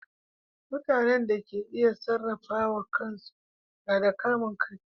Mutane da ke iya sarrafawa kan su na da kamun kai.